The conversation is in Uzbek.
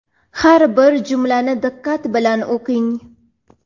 har bir jumlani diqqat bilan o‘qing.